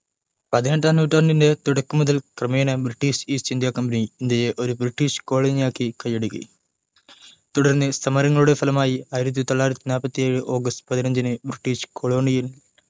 പതിനെട്ടാം നൂറ്റാണ്ടിന്റെ തുടക്കം മുതൽ ക്രമേണ british east india company ഇന്ത്യയെ ഒരു british colony ആക്കി കയ്യടക്കി തുടർന്ന് സമരങ്ങളുടെ ഫലമായി ആയിരത്തി തൊള്ളായിരത്തി നാൽപത്തി ഏഴ് ആഗസ്റ്റ് പതിനെഞ്ചിനു british colonial